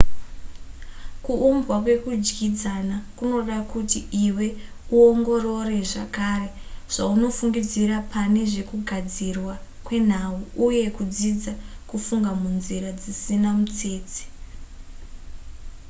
kuumbwa kwekudyidzana kunoda kuti iwe uongorore zvakare zvaunofungidzira pane zvekugadzirwa kwenhau uye kudzidza kufunga munzira dzisina mutsetse